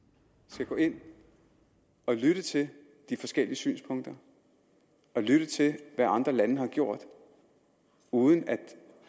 skal gå ind og lytte til de forskellige synspunkter og lytte til hvad andre lande har gjort uden at